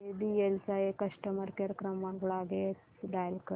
JBL चा customer care क्रमांक लगेच डायल कर